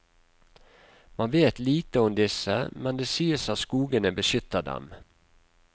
Man vet lite om disse, men det sies at skogene beskytter dem.